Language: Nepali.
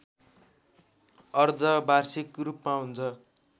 अर्धवार्षिक रूपमा हुन्छ